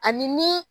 Ani ni